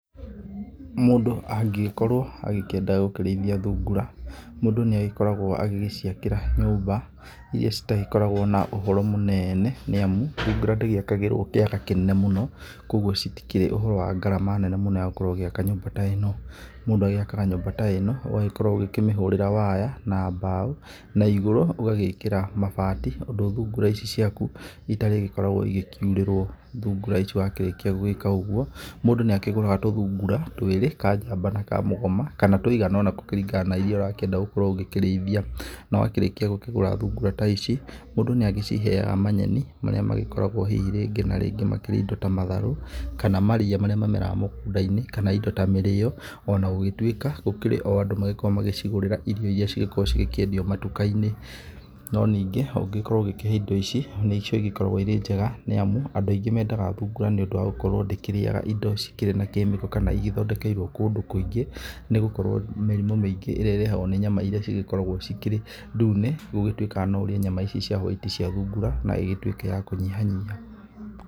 Mũndũ angĩgĩkorwo akĩenda gũkĩrĩithia thungura, mũndũ nĩ agĩkoragwo agĩciakĩra nyũmba irĩa citakoragwo na ũhoro mũnene, nĩamu thungura ndĩgĩakagĩrwo kĩaga kĩnene mũno, kogwo citikĩrĩ ũhoro wa ngarama nene mũno ya gũkorwo ũgĩaka nyũmba ta ĩ no. Mũndũ agĩakaga nyũmba ta ĩ no, ũgagĩkorwo ũgĩkĩmĩhũrĩra waya na mbaũ na igũrũ ũgagĩkĩra mabati ũndũ thungura ici ciaku itarĩgĩkoragwo ikiurĩrwo. Thungura ici wakĩrĩkia gwĩka ũguo, mũndũ nĩakĩgũraga tũthungura twĩrĩ ka njamba na ka mũgoma, kana tũigana ũ na kũringana na ũrĩa ũrakĩenda gũkorwo ũkĩrĩithia. Na wakĩrĩkia gũkĩgũra thungura ta ici, mũndũ nĩ agĩciheyaga manyeni marĩa makoragwo hihi rĩngĩ na rĩngĩ makĩrĩa ndo ta matharũ kana marĩa mameraga mũgũnda-inĩ kana indo ta mĩrĩyo o na gũgĩtuĩka gũkĩrĩ o andũ makoragwo magĩcigũrĩra irio irĩa cigĩkoragwo cikĩendio matuka-inĩ, no nĩngĩ ũngĩgĩkorwo ũkĩhe indo ici, nĩcio cigĩkoragwo cirĩ njega nĩamu andũ aingĩ mendaga thungura nĩũndũ wa gũkorwo ndĩ kĩrĩyaga indo cikĩrĩ na kemiko kana igĩthondekeirwo kũndũ kũingĩ, nĩgũkorwo mĩrimũ mĩingĩ ĩrĩa ĩrehagwo nĩ nyama irĩa cigĩkoragwo ci kĩrĩ ndũne, gũgĩtuĩkaga no ũrĩe nyama ici cia hwaiti cia thungura na ĩtuĩke ya kũnyihanyiha.